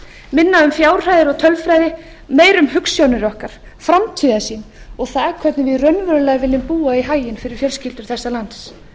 minna um fjárhæðir og tölfræði meira um hugsjónir okkar framtíðarsýn og það hvernig við raunverulega viljum búa í haginn fyrir fjölskyldur þessa lands